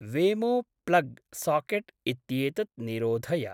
वेमो plug socket इत्येतत् निरोधय।